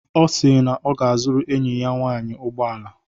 Ọ si na ọ ga-azụrụ enyi ya nwaanyị ụgbọala.